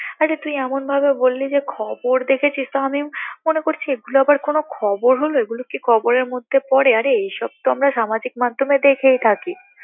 আচ্ছা তুই এমন ভাবে বললি যে খবর দেখেছিস তো আমি মনে করছি এইগুলো আবার কোন খবর হলো এইগুলো কি খবরের মধ্যে পড়ে আরে এসব তো আমরা সামাজিক মাধ্যমে দেখেই থাকি